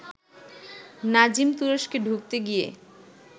নাজিম তুরস্কে ঢুকতে গিয়ে